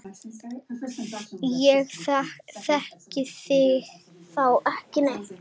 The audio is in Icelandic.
Ég þekki þá ekki neitt.